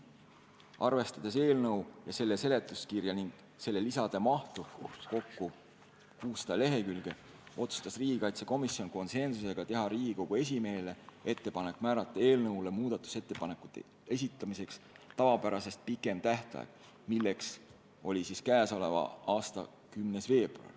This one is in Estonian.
Arvestades eelnõu ja selle seletuskirja ning selle lisade mahtu – kokku 600 lehekülge –, otsustas riigikaitsekomisjon konsensusega teha Riigikogu esimehele ettepaneku määrata muudatusettepanekute esitamiseks tavapärasest pikem tähtaeg, milleks on k.a 10. veebruar.